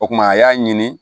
O kumana a y'a ɲini